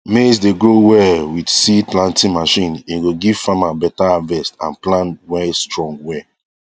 maize dey grow well with seed planting machine e go give farmer better harvest and plan were strong well